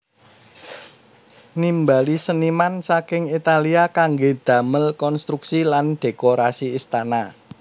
Nimbali seniman saking Italia kanggé damel konstruksi lan dhékorasi istana